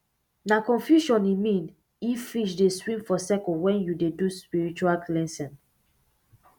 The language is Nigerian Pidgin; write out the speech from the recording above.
nah confusion e mean if fish dey swim for circle when you dey do spiritual cleansing